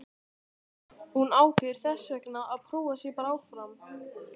Hún ákveður þessvegna að prófa sig bara áfram.